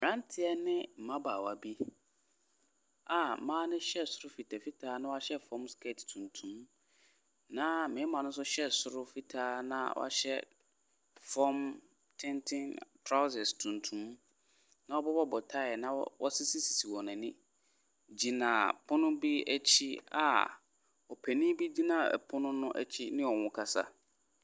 Mmeranteɛ ne mmabaawa bi a mma no hyɛ soro mfitamfitaa na wɔahyɛ fam skirt tuntum, na mmarima no nso hyɛ soro fitaa na wɔhyɛ fam tenten, trousers tuntum, abobɔ tae na wɔasisi wɔn ani gyina pono bi akyi a ɔpanin bi gyina ɔpono no akyi ne wɔn rekasa.